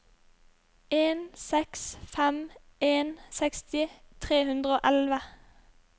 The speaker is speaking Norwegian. en seks fem en seksti tre hundre og elleve